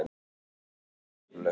Lífið var ótrúlegt.